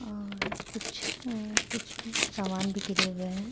औऔर कुछ अअ कुछ सामान भी गिरे हुए हैं|